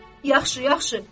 Yaxşı, yaxşı.